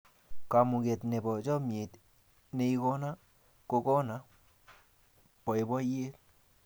kamangut nebo chamiet neigona ko kona baibaiet